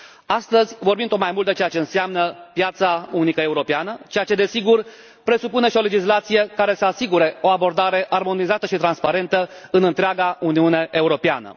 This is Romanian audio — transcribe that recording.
Astăzi vorbim tot mai mult despre ceea ce înseamnă piața unică europeană, ceea ce, desigur, presupune și o legislație care să asigure o abordare armonizată și transparentă în întreaga Uniune Europeană.